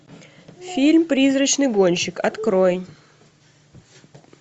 фильм призрачный гонщик открой